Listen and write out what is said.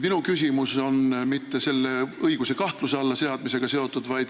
Minu küsimus ei ole seotud selle õiguse kahtluse alla seadmisega.